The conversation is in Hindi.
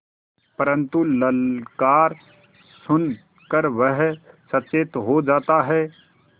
परन्तु ललकार सुन कर वह सचेत हो जाता है